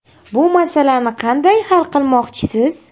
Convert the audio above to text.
Bu masalani qanday hal qilmoqchisiz?